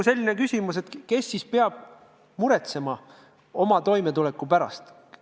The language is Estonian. See on küsimus, kes ikkagi peab muretsema inimese toimetuleku pärast.